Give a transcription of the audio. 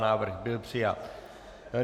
Návrh byl přijat.